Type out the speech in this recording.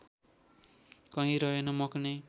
कहीँ रहेन मकनै